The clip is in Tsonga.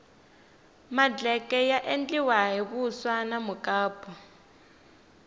madleke ya endliwa hi vuswa na mukapu